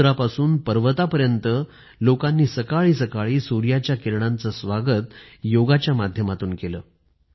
समुद्रापासून पर्वतापर्यंत लोकांनी सकाळीसकाळी सूर्याच्या किरणांचं स्वागत योगच्या माध्यमातून केलं